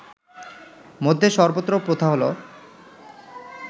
মধ্যে সর্বত্র প্রথা হলো